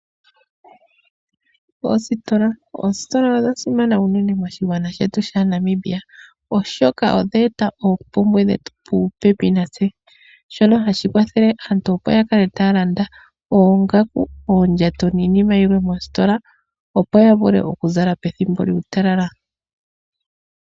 Oositola odha simana uunene moshigwana shetu shaNamibia, oshoka odha eta oompumbwe dhetu puupepi natse, shono hashi kwathele aantu opo yakale taya landa oongaku, uundjato niinima yilwe moostola opo ya vule oku zala pethimbo lyuutalala.